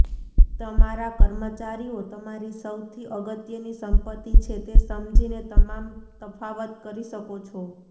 તમારા કર્મચારીઓ તમારી સૌથી અગત્યની સંપત્તિ છે તે સમજીને તમામ તફાવત કરી શકો છો